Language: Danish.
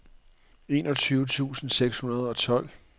enogtyve tusind seks hundrede og tolv